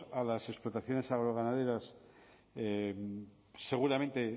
a las explotaciones agroganaderas seguramente